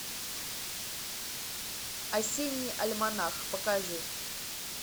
осенний альманах покажи